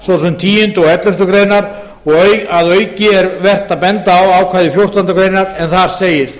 sem tíunda og elleftu greinar og að auki er vert að benda á ákvæði fjórtándu greinar en þar segir